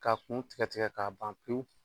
K'a kun tigɛ tigɛ k'a ban pewu